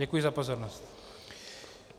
Děkuji za pozornost.